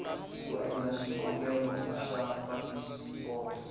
ku endla xikombelo xa phasipoto